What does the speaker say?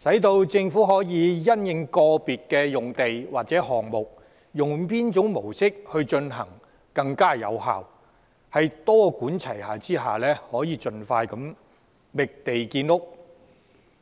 讓政府可因應個別用地或項目而採用較有效的模式，多管齊下地盡快覓地建屋。